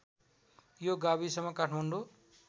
यो गाविसमा काठमाडौँ